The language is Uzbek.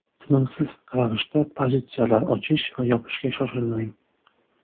Tinimsiz ravishda pozitsiyalar ochish va yopishga shoshilmang.